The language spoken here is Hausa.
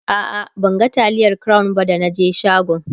a'a ban ga taliyar crown ba da na je shagon